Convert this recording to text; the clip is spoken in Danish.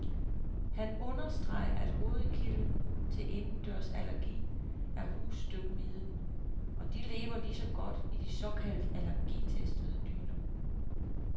Han understreger, at hovedkilden til indendørsallergi er husstøvmiden, og de lever lige så godt i de såkaldt allergitestede dyner.